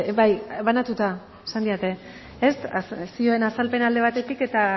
bai banatuta esan didate ez zioen azalpena alde batetik eta